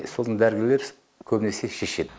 сосын дәрігерлер көбінесе шешеді